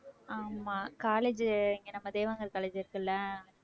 ஆமா college உ இங்க நம்ம தேவாங்கர் college இருக்குல்ல